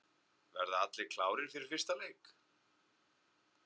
Verða allir klárir fyrir fyrsta leik?